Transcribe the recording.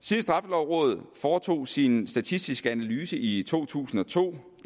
siden straffelovrådet foretog sin statistiske analyse i to tusind og to